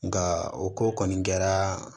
Nka o ko kɔni kɛra